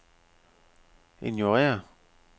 ignorér